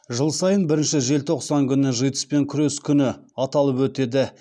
жыл сайын бірінші желтоқсан күні житс пен күрес күні аталып өтеді